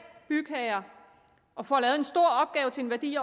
bygherre og får lavet en stor opgave til en værdi